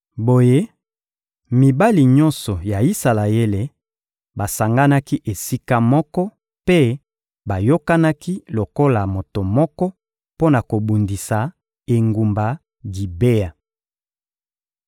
Boye, mibali nyonso ya Isalaele basanganaki esika moko mpe bayokanaki lokola moto moko mpo na kobundisa engumba Gibea.